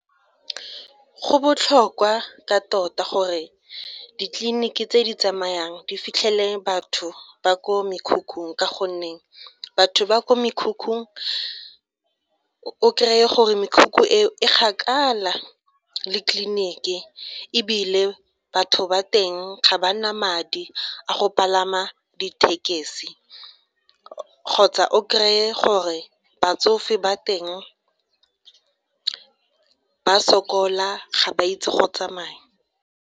Go botlhokwa ka tota gore ditleliniki tse di tsamayang di fitlhelele batho ba ko mekhukhung ka gonne batho ba kwa mekhukhung o kry-e gore mekhukhu e kgakala le tleliniki ebile batho ba teng ga ba na madi a go palama di thekesi kgotsa o kry-e gore batsofe ba teng ba sokola ga ba itse go tsamaya.